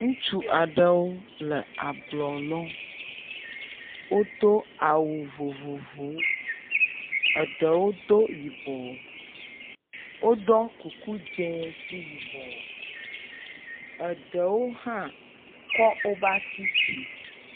Ŋutsu aɖewo le ablɔ lɔm. Wodo awu vovovowo eɖewo do yibɔ, woɖɔ kuku dzɛ̃ kple yibɔ. Eɖewo hã kɔ woba asi dzi.